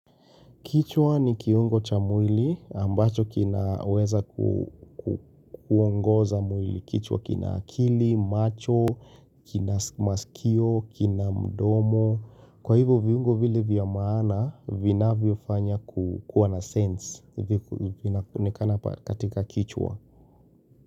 Kichwa ni kiungo cha mwili ambacho kinaweza kukuongoza mwili. Kichwa kina akili, macho, kina masikio, kina mdomo. Kwa hivyo viungo vile vya maana, vina vyofanya kukua na sense ni inaonekanaa katika kichwa.